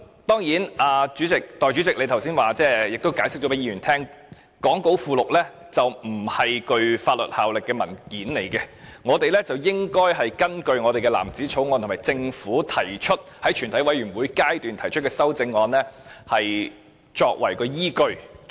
當然，代理主席剛才解釋，講稿附錄並非具法律效力的文件，我們應該根據藍紙條例草案和政府的全體委員會審議階段修正案，作為投票依據。